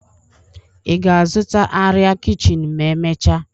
Ị ga-azụta arịa kichin ma emechaa?